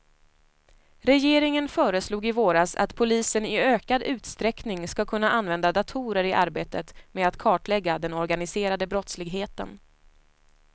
Regeringen föreslog i våras att polisen i ökad utsträckning ska kunna använda datorer i arbetet med att kartlägga den organiserade brottsligheten.